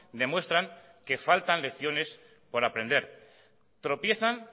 demuestran que faltan lecciones por aprender tropiezan